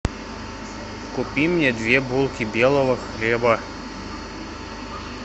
купи мне две булки белого хлеба